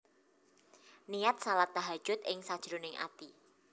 Niat shalat Tahajjud ing sajroning ati